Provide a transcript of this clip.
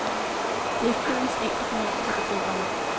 Det er flidens enkle fornøjelse, der driver mig.